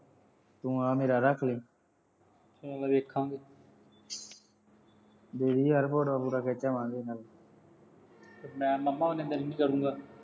ਤੂੰ ਆਹ ਮੇਰਾ ਰੱਖ ਲਈ। ਚਲ ਦੇਖਾਂਗੇ। ਦੇ ਦਈ ਯਾਰ photos ਫੂਟੂਆਂ ਖਿੱਚ ਆਵਾਂਗੇ। ਮੈਂ ਉਨੇ ਦਿਨ ਕੀ ਕਰੂਗਾਂ।